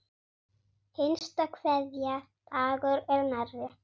Hinsta kveðja Dagur er nærri.